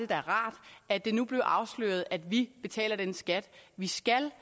da rart at det nu blev afsløret at vi betaler den skat vi skal